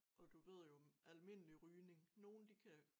Og du ved jo almindelig rygning nogen de kan